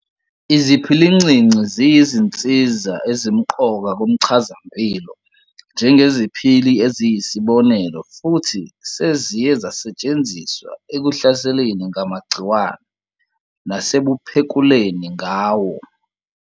Iziphilincinci ziyizinsiza ezimqoka kumchazampilo njengeziphili eziyisibonelo futhi seziye zasetshenziswa ekuhlaseleni ngamagciwane, nasebuphekuleni ngawo.